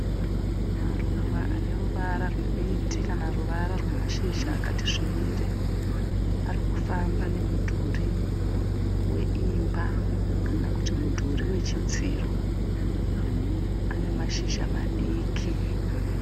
Maruva ane ruvara rwemiti kana ruvara rwemashizha akati svibire. Ari kufamba nemudhuri weimba kana kuti mudhuri wechidziro. Ane mashizha madiki.